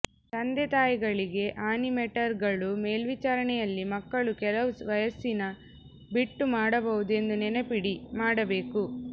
ತಂದೆತಾಯಿಗಳಿಗೆ ಆನಿಮೇಟರ್ಗಳು ಮೇಲ್ವಿಚಾರಣೆಯಲ್ಲಿ ಮಕ್ಕಳು ಕೆಲವು ವಯಸ್ಸಿನ ಬಿಟ್ಟು ಮಾಡಬಹುದು ಎಂದು ನೆನಪಿಡಿ ಮಾಡಬೇಕು